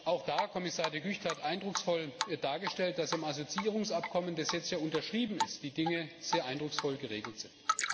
Auch da hat Kommissar De Gucht eindrucksvoll dargestellt, dass im Assoziierungsabkommen, das jetzt ja unterschrieben ist, die Dinge sehr eindrucksvoll geregelt sind.